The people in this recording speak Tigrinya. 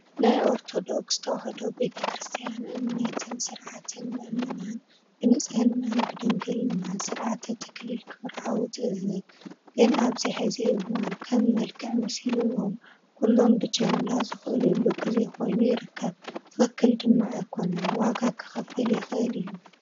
ናይ ኦርቶዶክ ተዋህዶ ቤተ ክርስትያን እምነትን ስርዓትን ምእመናን ብንፅህናን ብድንግልናን ብስርዓተ ተክሊል ክምርዓው ትእዘዝ፡፡ ግን ኣብዚ ሕዚ እዋን ከም መልክዕ መሲልዎም ኩሉ ብጅምላ ዝኽለሉ ጊዜ ኮይኑ ይርከብ፡፡ ትኽክል ድማ ኣይኮነን ዋጋ ከኽፍል ይኽእል እዩ፡፡